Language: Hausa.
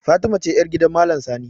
Fatima ce yar gidan maalam sani